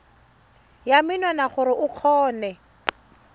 ya menwana gore o kgone